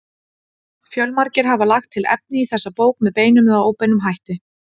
Fjölmargir hafa lagt til efni í þessa bók með beinum eða óbeinum hætti.